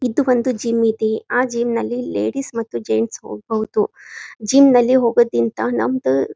ಇದು ಒಂದು ಜಿಮ್ ಇದೆ ಆ ಜಿಮ್ ನಲ್ಲಿ ಲೇಡೀಸ್ ಮತ್ತು ಜೆಂಟ್ಸ್ ಹೋಗ್ಬೋದು ಜಿಮ್ ನಲ್ಲಿ ಹೋಗೋದಿಂತ ನಮ್ದ--